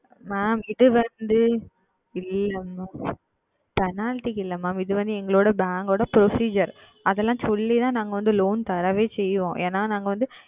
Mam இது வந்து இல்லை MamPenalty க்கு இல்லை Mam இது வந்து எங்களுடைய Bank உடைய Procedure அது எல்லாம் சொல்லி தான் நாங்கள் வந்து Loan தரவே செய்வோம் ஏனால் நாங்கள் வந்து